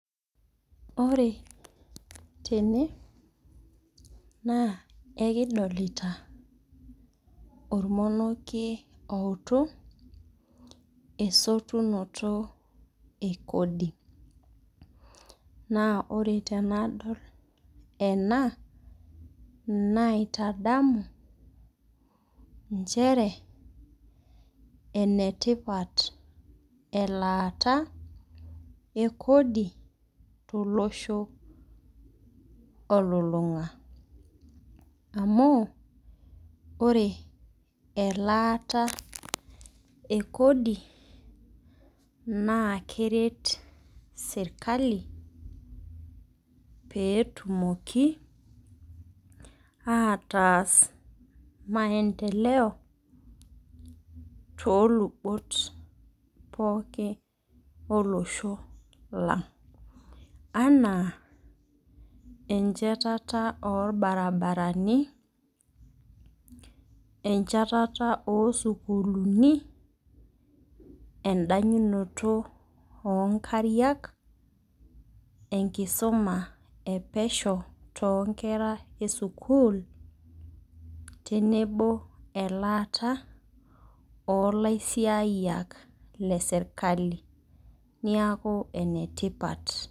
Ore tene naa ekidolita ormonieki outu esotunoto ee kodi. Ore tenadol enaa naitadamu nchere ene tipat elataa ee kodi to losho ololong'a. Amu ore elataa ee kodi naa keret serikali peetumoki ataas  maendeleo too lubot pookin olosho lang'. Anaa enchatata oo irbararani, enchatata oo sukulini, edanyunoto oo nkariak, enkisuma ee pesho toonkera esukul tenebo elata olaisiyiak le serikali niaku enetipat.